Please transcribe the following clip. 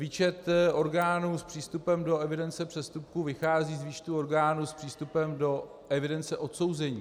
Výčet orgánů s přístupem do evidence přestupků vychází z výčtu orgánů s přístupem do evidence odsouzených.